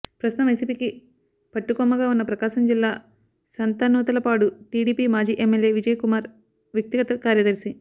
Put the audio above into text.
ప్రస్తుతం వైసీపీకి పట్టుకొమ్మగా ఉన్న ప్రకాశం జిల్లా సంతనూతలపాడు టీడీపీ మాజీ ఎమ్మెల్యే విజయకుమార్ వ్యక్తిగత కార్యదర్శి